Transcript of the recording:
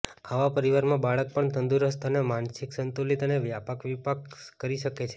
આવા પરિવારમાં બાળક પણ તંદુરસ્ત અને માનસિક સંતુલિત અને વ્યાપક વિકાસ કરી શકે છે